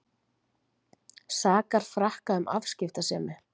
Sakar Frakka um afskiptasemi